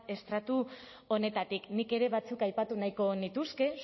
estratu honetatik nik ere batzuk aipatu nahiko nituzke